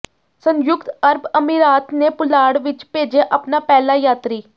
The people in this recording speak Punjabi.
ਸੰਯੁਕਤ ਅਰਬ ਅਮੀਰਾਤ ਨੇ ਪੁਲਾੜ ਵਿੱਚ ਭੇਜਿਆ ਆਪਣਾ ਪਹਿਲਾ ਯਾਤਰੀ